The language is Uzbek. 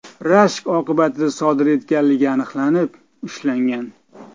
rashk oqibatida sodir etganligi aniqlanib, ushlangan.